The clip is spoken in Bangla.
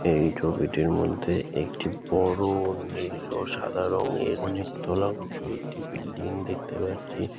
এই ছবিটির মধ্যে একটি বড়ো-ও নীল ও সাদা রঙের অনেক তোলা উঁচু একটি বিল্ডিং দেখতে পাচ্ছি।